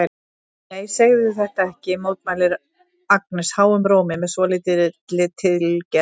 Nei, segðu þetta ekki, mótmælir Agnes háum rómi með svolítilli tilgerð.